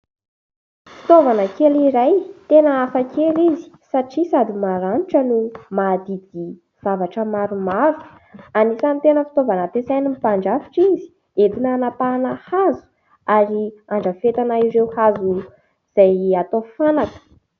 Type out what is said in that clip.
Fitaovana kely iray tena hafakely izy satria sady maranitra no mahadidy zavatra maromaro. Anisan'ny tena fitaovana ampiasain'ny mpandrafitra izy, entina hanapahana hazo ary handrafetana ireo hazo izay atao fanaka.